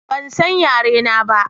Ban san yare na ba